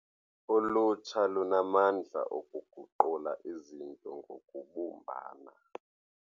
Ulutsha lunamandla okuguqula izinto ngokubumbana.